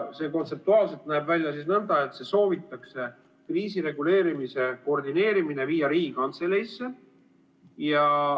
See kontseptuaalselt näeb välja nõnda, et kriisireguleerimise koordineerimine soovitakse viia Riigikantseleisse.